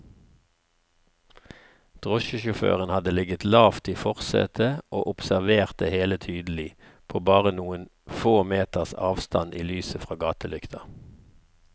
Drosjesjåføren hadde ligget lavt i forsetet og observert det hele tydelig, på bare noen få meters avstand i lyset fra gatelykta.